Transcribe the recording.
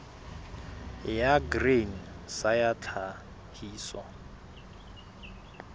ya grain sa ya tlhahiso